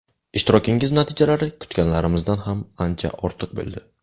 Ishtirokingiz natijalari kutganlarimizdan ham ancha ortiq bo‘ldi.